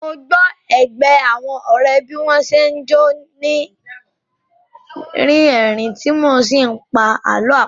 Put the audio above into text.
Mo gbọ́ ẹgbẹ́ àwọn ọ̀rẹ́ bí wọ́n n ṣe jọ́ ni rí ẹ̀rín tí wọ́n n sí pa àlọ́ àpamọ́